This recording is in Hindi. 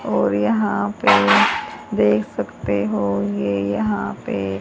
और यहां पे देख सकते हो ये यहां पे--